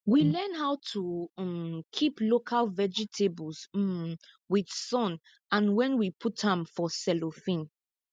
we learn how to um keep local vegetables um with sun and when we put am for cellophane